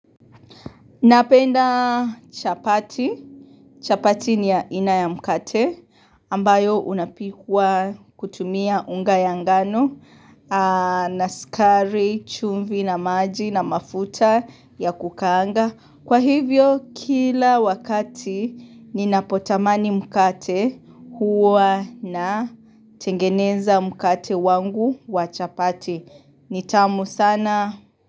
Napenda chapati. Chapati ni aina ya mkate ambayo unapikwa kutumia unga ya ngano na sukari, chumvi na maji na mafuta ya kukaanga. Kwa hivyo kila wakati ninapotamani mkate huwa natengeneza mkate wangu wa chapati. Nitamu sana.